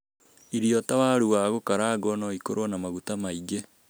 Irio ta waru wa gũkarangwo nĩ ikoragwo na maguta maingĩ.